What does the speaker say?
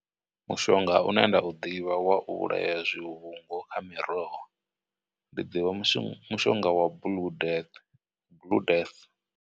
Mushonga une nda u ḓivha wa u vhulaya zwivhungu kha miroho, ndi ḓivha mushonga wa.